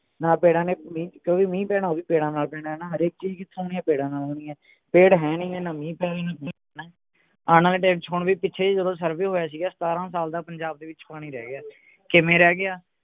ਨਾ ਪੇੜਾਂ ਨੇ ਮੀਂਹ ਕਿਓਂਕਿ ਮੀਂਹ ਪੈਣਾ ਉਹ ਵੀ ਪੇੜਾਂ ਨਾਲ ਪੈਣੇ ਹਣਾ ਹਰੇਕ ਚੀਜ ਕਿਥੋਂ ਹੋਣੀ ਹੈ ਪੇੜਾਂ ਨਾਲ ਹੋਣੀ ਹੈ ਪੇੜ ਹੈ ਨਹੀਂ ਨਾ ਮੀਂਹ ਪੈ ਰਹੇ ਨੇ ਆਣ ਆਲੇ ਟੈਮ ਵਿਚ ਹੁਣ ਵੀ ਪਿੱਛੇ ਜਿਹੇ ਜਦੋਂ survey ਹੋਇਆ ਸੀਗਾ ਸਤਾਰਾਂ ਸਾਲ ਦਾ ਪੰਜਾਬ ਦੇ ਵਿਚ ਪਾਣੀ ਰਹਿ ਗਿਆ ਕਿਵੇਂ ਰਹਿ ਗਿਆ